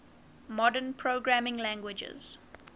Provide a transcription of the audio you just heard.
modern programming languages